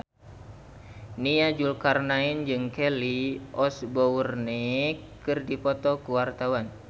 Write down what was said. Nia Zulkarnaen jeung Kelly Osbourne keur dipoto ku wartawan